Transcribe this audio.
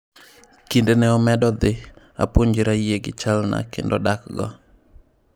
"Kind ne omedo dhi, apuonjra yie gi chalna kendo dakgo."